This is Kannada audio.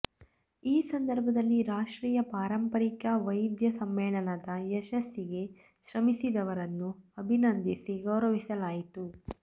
ಈ ಸಂದರ್ಭದಲ್ಲಿ ರಾಷ್ಟ್ರೀಯ ಪಾರಂಪರಿಕ ವೈದ್ಯ ಸಮ್ಮೇಳನದ ಯಶಸ್ಸಿಗೆ ಶ್ರಮಿಸಿದವರನ್ನು ಅಭಿನಂದಿಸಿ ಗೌರವಿಸಲಾಯಿತು